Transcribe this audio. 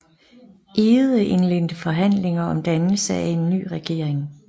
Egede indledte forhandlinger om dannelse af en ny regering